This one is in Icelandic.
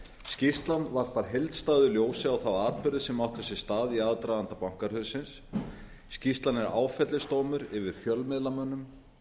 skýrslan varpar heildstæðu ljósi á atburðina sem áttu sér stað í aðdraganda bankahrunsins skýrslan er áfellisdómur yfir fjölmiðlamönnum